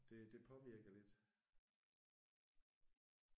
Det det påvirker lidt